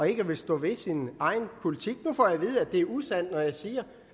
ikke at ville stå ved sin egen politik nu får jeg at vide at det er usandt når jeg siger